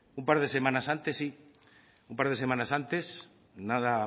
un par de semanas antes sí un par de semanas antes nada